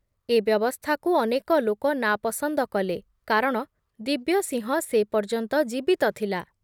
ଏ ବ୍ୟବସ୍ଥାକୁ ଅନେକ ଲୋକ ନାପସନ୍ଦ କଲେ କାରଣ ଦିବ୍ୟସିଂହ ସେ ପର୍ଯ୍ୟନ୍ତ ଜୀବିତ ଥିଲା ।